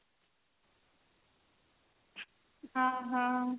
ଓଃ ହୋ